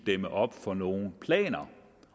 dæmme op for nogle planer